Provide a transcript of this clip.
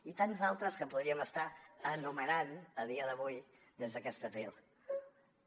i tants altres que podríem estar enumerant a dia d’avui des d’aquest faristol